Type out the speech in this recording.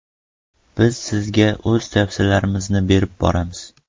Biz sizga o‘z tavsiyalarimizni berib boramiz!